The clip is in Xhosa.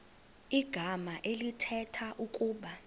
igama elithetha ukuba